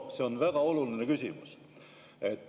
See on väga oluline küsimus.